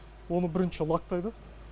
оны бірінші лактайды